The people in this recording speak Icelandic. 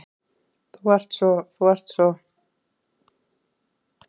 Þú ert svo. þú ert svo.